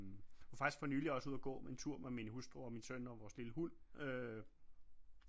Jeg var faktisk for nylig også ude og gå en tur med min hustru og min søn og vores lille hund øh